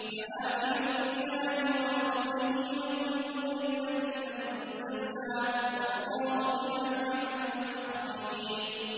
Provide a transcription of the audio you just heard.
فَآمِنُوا بِاللَّهِ وَرَسُولِهِ وَالنُّورِ الَّذِي أَنزَلْنَا ۚ وَاللَّهُ بِمَا تَعْمَلُونَ خَبِيرٌ